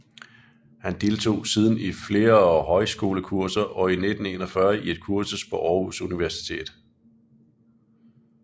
Han deltog siden i flere højskolekurser og i 1941 i et kursus på Aarhus Universitet